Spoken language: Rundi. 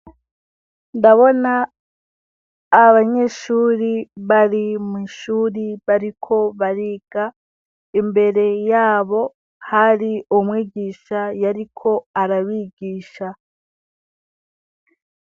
Ndabona abanyeshure bari mw'ishuri bariko bariga imbere yabo hari umwigisha yariko arabigisha.